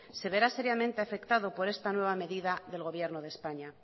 se verá seriamente afectado por esta nueva medida del gobierno del españa